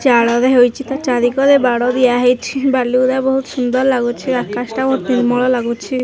ଚାଳରେ ହେଇଛି ତା ଚରିକରେ ବାଡ଼ ଦିଆ ହେଇଛି ଭାଲୁ ଗୁରା ବୋହୁତ ସୁନ୍ଦର ଲାଗୁଛି ଆକାସ ଟା ବୋହୁତ ନିର୍ମଳ ଲାଗୁଛି।